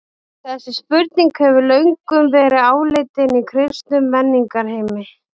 Þessi spurning hefur löngum verið áleitin í kristnum menningarheimi.